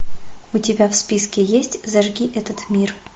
у тебя в списке есть зажги этот мир